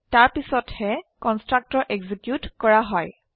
তাৰপিছতহে constructor execute কৰা হয়